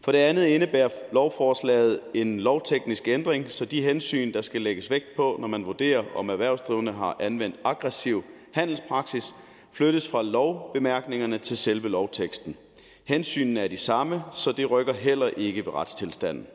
for det andet indebærer lovforslaget en lovteknisk ændring så de hensyn der skal lægges vægt på når man vurderer om erhvervsdrivende har anvendt aggressiv handelspraksis flyttes fra lovbemærkningerne til selve lovteksten hensynene er de samme så det rykker heller ikke ved retstilstanden